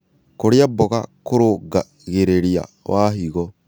Kũrĩa mmboga kũrũngagĩrĩrĩa wa hĩgo